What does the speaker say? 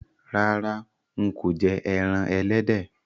Rárá, n kò je ẹran ẹlẹ́dẹ̀